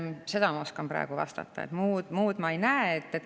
Seda ma oskan praegu vastata, muud ma ei näe.